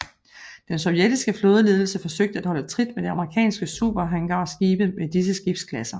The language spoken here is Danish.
Den sovjetiske flådeledelse forsøgte at holde trit med de amerikanske superhangarskibe med disse skibsklasser